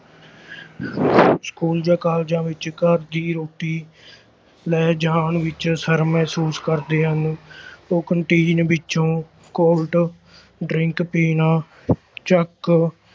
school ਜਾਂ ਕਾਲਜਾਂ ਵਿੱਚ ਘਰ ਦੀ ਰੋਟੀ ਲੈ ਜਾਣ ਵਿੱਚ ਸ਼ਰਮ ਮਹਿਸੂਸ ਕਰਦੇ ਹਨ ਉਹ canteen ਵਿੱਚੋਂ cold drink ਪੀਣਾ ਚੱਕ